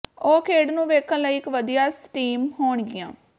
ਉਹ ਖੇਡ ਨੂੰ ਵੇਖਣ ਲਈ ਇਕ ਵਧੀਆ ਸਟੀਮ ਹੋਣਗੀਆਂ